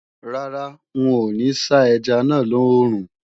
Rárá, n ò ní sá ẹja náà lòòrùn